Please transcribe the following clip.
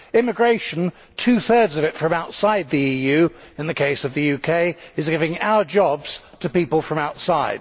Immigration two thirds of it from outside the EU in the case of the UK is giving our jobs to people from outside.